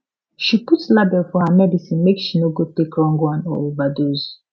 she put label for her medicine make she no go take wrong one or overdose